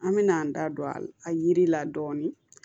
An mɛna an da don a yiri la dɔɔnin